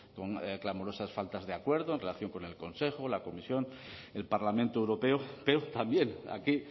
con clamorosas faltas de acuerdo en relación con el consejo la comisión el parlamento europeo pero también aquí